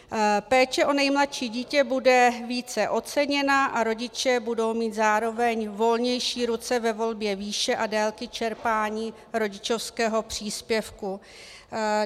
Péče o nejmladší dítě bude více oceněna a rodiče budou mít zároveň volnější ruce ve volbě výše a délky čerpání rodičovského příspěvku.